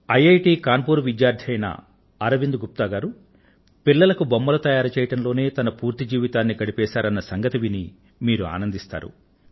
IIT Kanpur విద్యార్థి అయిన అరవింద్ గుప్తా గారు పిల్లలకు బొమ్మలు తయారుచేయడం లోనే తన పూర్తి జీవితాన్ని గడిపేశారన్న సంగతి విని మీరు ఆనందిస్తారు